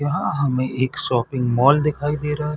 यहाँ हमें एक शॉपिंग मॉल दिखाए दे रहा हैं।